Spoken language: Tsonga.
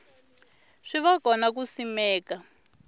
swi va kona ku simeka